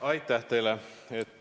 Aitäh teile!